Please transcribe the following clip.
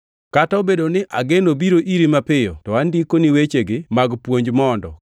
Kata obedo ni ageno biro iri mapiyo to andikoni wechegi mag puonj mondo;